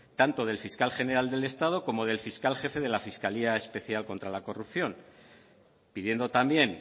tanto del fiscal general del estado como del fiscal jefe de la fiscalía especial contra la corrupción pidiendo también